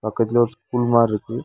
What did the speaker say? பக்கத்துல ஒரு ஸ்கூல் மாதிரி இருக்கு.